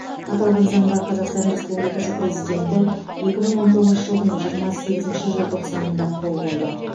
аталған заңға қазақстан республикасы президенті екі мың он тоғызыншы жылдың жиырма сегізінші желтоқсанында қол қойды